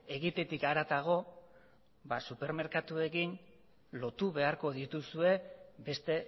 egitetik haratago ba supermerkatuekin lotu beharko dituzue beste